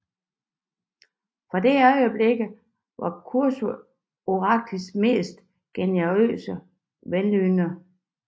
Fra det øjeblik var Krøsus oraklets mest generøse velynder